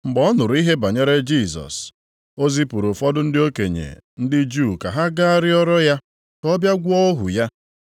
Mgbe ọ nụrụ ihe banyere Jisọs, o zipụrụ ụfọdụ ndị okenye ndị Juu ka ha gaa rịọrọ ya ka ọ bịa gwọọ ohu ya.